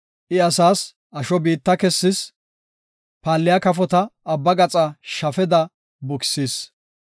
I asaas asho biitta kessis; paalliya kafota abba gaxa shafeda bukisis.